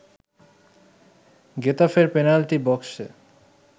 গেতাফের penalty বক্সে